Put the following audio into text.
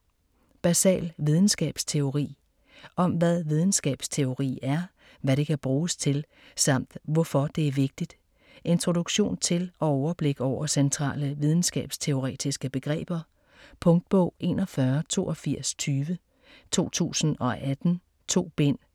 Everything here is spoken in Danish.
Basal videnskabsteori Om hvad videnskabteori er, hvad det kan bruges til samt hvorfor det er vigtigt. Introduktion til og overblik over centrale videnskabsteoretiske begreber. Punktbog 418220 2018. 2 bind.